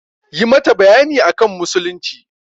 Yi mata bayani akan musulunci!